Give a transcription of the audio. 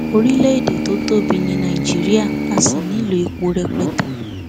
orílẹ èdè tó tóbi ni nàìjíríà a sì nílò epo rẹpẹtẹ